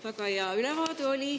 Väga hea ülevaade oli.